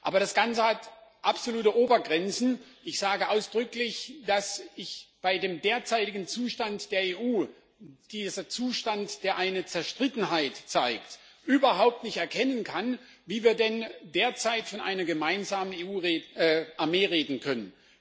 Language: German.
Aber das Ganze hat absolute Obergrenzen. Ich sage ausdrücklich, dass ich bei dem derzeitigen Zustand der EU diesem Zustand der Zerstrittenheit überhaupt nicht erkennen kann, wie wir denn derzeit von einer gemeinsamen EU Armee reden können.